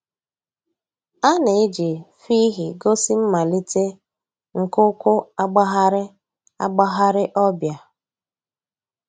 A nà-èjì fhịhị gósì mmàlítè nke ǔ́kwụ̀ àgbàghàrì àgbàghàrì ọ̀ bịa.